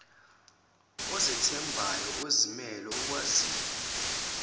ozethembayo ozimele okwaziyo